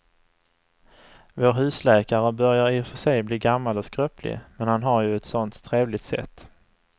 Vår husläkare börjar i och för sig bli gammal och skröplig, men han har ju ett sådant trevligt sätt!